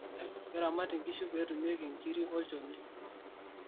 keramati inkishu peetumieki inkirik oo olnjoni